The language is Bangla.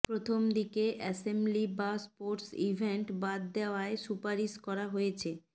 প্রথম দিকে অ্যাসেম্বলি বা স্পোর্টস ইভেন্ট বাদ দেওয়ার সুপারিশ করা হয়েছে